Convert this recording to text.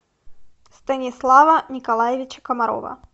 станислава николаевича комарова